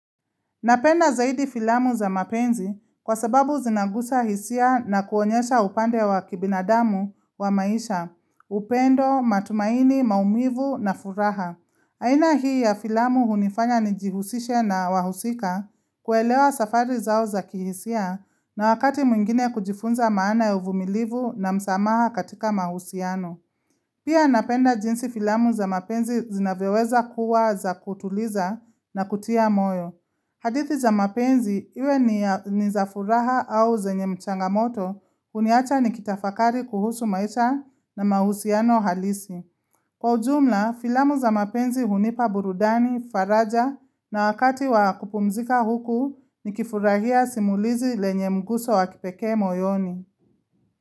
Napenda zaidi filamu za mapenzi kwa sababu zinagusa hisia na kuonyesha upande wa kibinadamu wa maisha, upendo, matumaini, maumivu na furaha. Aina hii ya filamu hunifanya nijihusishe na wahusika kuelewa safari zao za kihisia na wakati mwingine kujifunza maana ya uvumilivu na msamaha katika mahusiano. Pia napenda jinsi filamu za mapenzi zinavyoweza kuwa za kutuliza na kutia moyo. Hadithi za mapenzi, iwe ni ya ni za furaha au zenye mchanga moto, uniacha ni kitafakari kuhusu maisha na mahusiano halisi. Kwa ujumla, filamu za mapenzi hunipa burudani, faraja na wakati wa kupumzika huku, ni kifurahia simulizi lenye mguso wa kipekee moyoni.